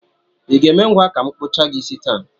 I ga-eme ngwa ka m kpụchaa gị isi taa?